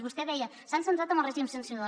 vostè deia s’han centrat en el règim sancionador